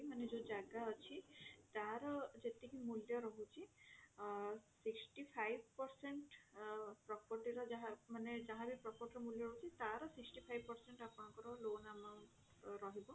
ମାନେ ଯୋଊ ଜାଗା ଅଛି ତାର ଯେତିକି ମୂଲ୍ୟ ରହୁଛି ଅ sixty five percent ଅ ମାନେ property ର ଯାହା ମାନେ property ର ମୂଲ୍ୟ ରହୁଛି ତାର sixty five percent ଆପଣଙ୍କର loan amount ରହିବ